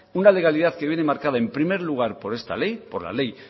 una legalidad que viene marcada en primer lugar por esta ley por la ley